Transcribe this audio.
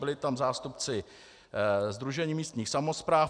Byli tam zástupci Sdružení místních samospráv.